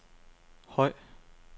høj